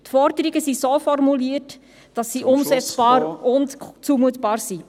Die Forderungen sind so formuliert, dass sie umsetzbar und zumutbar sind.